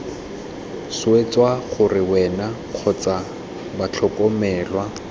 swetsa gore wena kgotsa batlhokomelwa